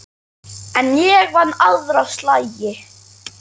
En ég vann aðra slagi.